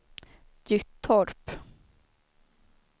Gyttorp